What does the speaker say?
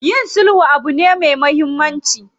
Yin sulhu abu ne me muhammanci.